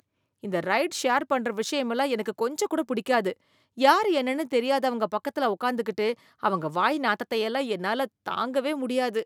இந்த ride share பண்ற விஷயமெல்லாம் எனக்கு கொஞ்சம் கூட பிடிக்காது, யாரு என்னன்னு தெரியாதவங்க பக்கத்துல உட்கார்ந்துகிட்டு, அவங்க வாய் நாத்தத்தை எல்லாம் என்னால தாங்கவே முடியாது.